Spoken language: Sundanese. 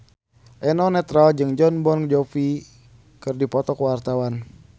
Eno Netral jeung Jon Bon Jovi keur dipoto ku wartawan